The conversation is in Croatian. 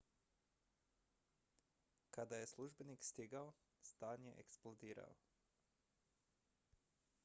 kada je službenik stigao stan je eksplodirao